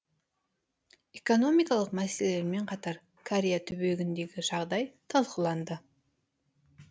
экономикалық мәселелермен қатар корея түбегіндегі жағдай талқыланды